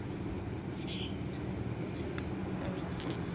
autumn arietids